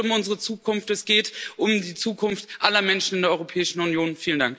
Es geht um unsere Zukunft, es geht um die Zukunft aller Menschen in der Europäischen Union.